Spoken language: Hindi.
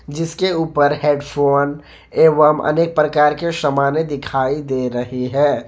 जिसके ऊपर हेडफोन एवं अनेक प्रकार के सामाने दिखाई दे रही है।